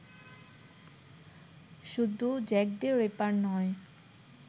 শুধু Jack the Ripper নয়